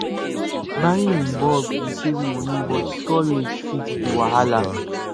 buying in bulk dey save money but storage fit be wahala